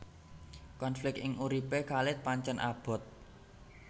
Konflik ing uripé Khalid pancèn abot